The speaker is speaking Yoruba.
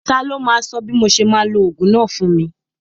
Ta ló máa sọ bí mo ṣe máa lo ogún náà fún mi?